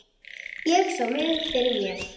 Ég sá mig fyrir mér.